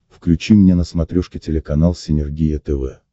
включи мне на смотрешке телеканал синергия тв